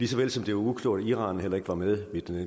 såvel som det var uklogt at iran heller ikke var med